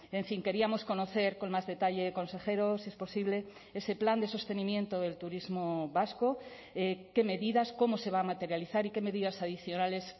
en fin queríamos conocer con más detalle consejero si es posible ese plan de sostenimiento del turismo vasco qué medidas cómo se va a materializar y qué medidas adicionales